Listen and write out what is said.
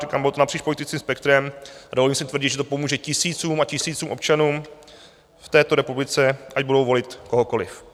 Říkám, bylo to napříč politickým spektrem a dovolím si tvrdit, že to pomůže tisícům a tisícům občanů v této republice, ať budou volit kohokoliv.